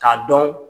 K'a dɔn